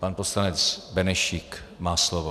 Pan poslanec Benešík má slovo.